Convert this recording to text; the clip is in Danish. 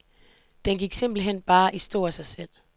Den gik simpelt hen bare i stå af sig selv .